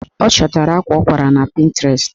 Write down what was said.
Ọ chọtara akwa ọ kwara na Pịntrest